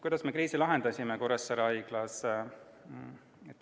Kuidas me kriisi Kuressaare Haiglas lahendasime?